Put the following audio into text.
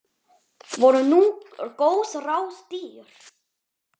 Voru nú góð ráð dýr.